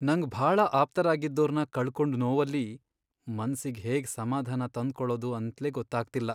ನಂಗ್ ಭಾಳ ಆಪ್ತರಾಗಿದ್ದೋರ್ನ ಕಳ್ಕೊಂಡ್ ನೋವಲ್ಲಿ ಮನ್ಸಿಗ್ ಹೇಗ್ ಸಮಾಧಾನ ತಂದ್ಕೊಳದು ಅಂತ್ಲೇ ಗೊತ್ತಾಗ್ತಿಲ್ಲ.